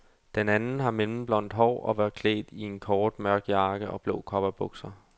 Den anden har mellemblondt hår og var klædt i en kort, mørk jakke og blå cowboybukser.